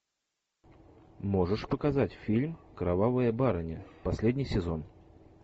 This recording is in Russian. можешь показать фильм кровавая барыня последний сезон